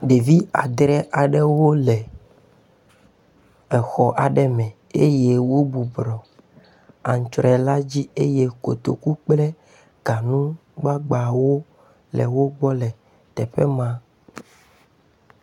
ɖevi adre aɖewo lɛ exɔ aɖɛ me ye wó bubrɔ aŋtsroe la dzi ye kotoku kple gaŋu gbagbawo le wógbɔ lɛ tɛƒema